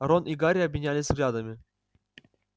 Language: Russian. рон и гарри обменялись взглядами